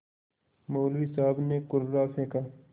मौलवी साहब ने कुर्रा फेंका